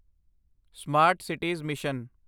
smart cities mission